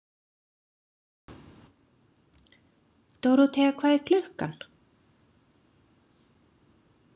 Dóróthea, hvað er klukkan?